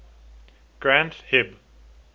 granth hib